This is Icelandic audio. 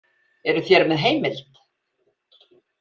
Eruð þér með heimild?